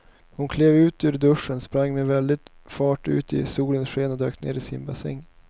Hon klev ur duschen, sprang med väldig fart ut i solens sken och dök ner i simbassängen.